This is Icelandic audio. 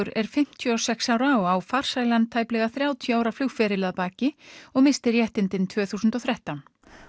er fimmtíu og sex ára og á farsælan tæplega þrjátíu ára flugferil að baki og missti réttindin tvö þúsund og þrettán